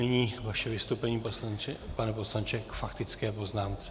Nyní vaše vystoupení, pane poslanče, k faktické poznámce.